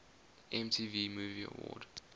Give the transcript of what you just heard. mtv movie award